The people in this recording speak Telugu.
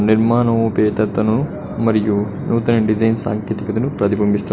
నిర్మానోపేతతను మరియు నూతన డిజైన్స్ సాంకేతికతను ప్రతిబింబిస్తూ.